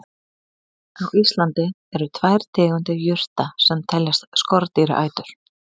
Á Íslandi eru tvær tegundir jurta sem teljast skordýraætur.